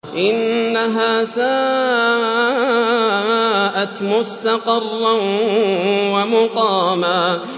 إِنَّهَا سَاءَتْ مُسْتَقَرًّا وَمُقَامًا